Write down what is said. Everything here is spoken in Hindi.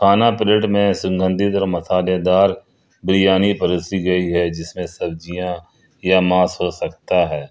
खाना प्लेट में सुगंधित और मसालेदार बिरियानी परोसी गई है जिसमें सब्जी या मांस हो सकते हैं।